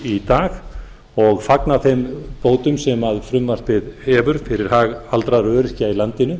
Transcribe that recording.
í dag og fagna þeim bótum sem frumvarpið hefur fyrir hag aldraðra og öryrkja í landinu